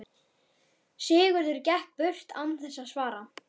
Sigurður gekk burt án þess að svara.